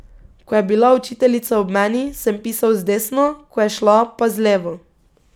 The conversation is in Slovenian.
Ko je bila učiteljica ob meni, sem pisal z desno, ko je šla, pa z levo.